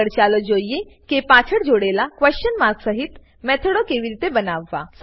આગળ ચાલો જોઈએ કે પાછળ જોડેલા ક્વેશન માર્ક સહીત મેથડો કેવી રીતે બનાવવા